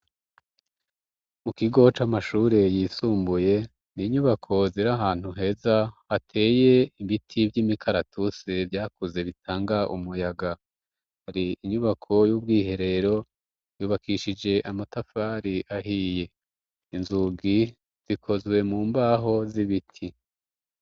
Mu kigo c' amashure yisumbuye ,n' inyubako zir' ahantu heza hateye ibiti vy'imikaratusi vyakuze bitanga umuyaga ,hari inyubako y'ubwiherero, yubakishije amatafari ahiye, inzugi zikozwe mu mbaho z'ibiti.